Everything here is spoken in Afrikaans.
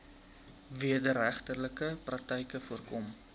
wederregtelike praktyke voorkom